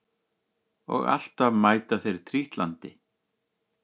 Og alltaf mæta þeir trítlandi